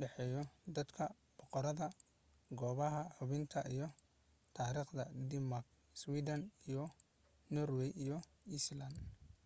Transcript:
dhaxeeya dadka, boqorada goobaha hubinta iyo taariikhda dermak iswidhan norway iyo iceland